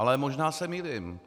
Ale možná se mýlím.